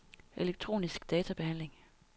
elektronisk databehandling